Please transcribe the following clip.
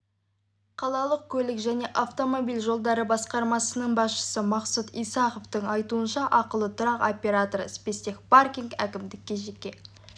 қалалық көлік және автомобиль жолдары басқармасының басшысы мақсұт исаховтың айтуынша ақылы тұрақ операторы спецтехпаркинг әкімдікке жеке